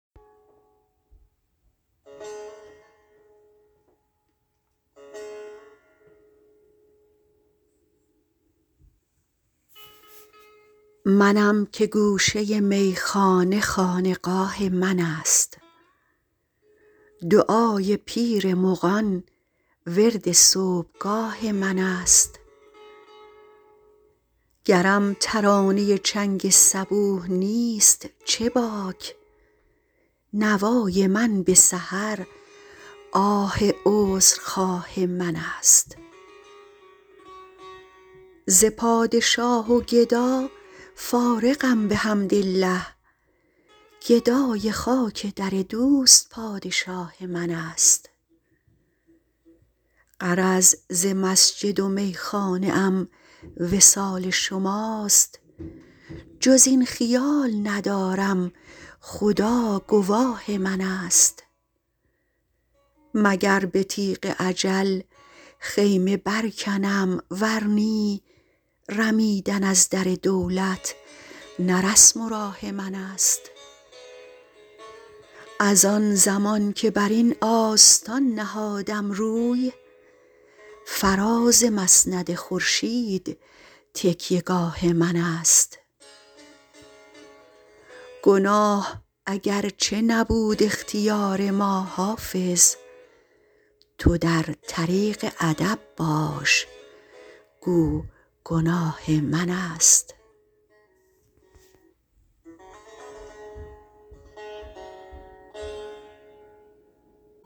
منم که گوشه میخانه خانقاه من است دعای پیر مغان ورد صبحگاه من است گرم ترانه چنگ صبوح نیست چه باک نوای من به سحر آه عذرخواه من است ز پادشاه و گدا فارغم بحمدالله گدای خاک در دوست پادشاه من است غرض ز مسجد و میخانه ام وصال شماست جز این خیال ندارم خدا گواه من است مگر به تیغ اجل خیمه برکنم ور نی رمیدن از در دولت نه رسم و راه من است از آن زمان که بر این آستان نهادم روی فراز مسند خورشید تکیه گاه من است گناه اگرچه نبود اختیار ما حافظ تو در طریق ادب باش گو گناه من است